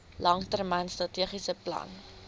langtermyn strategiese plan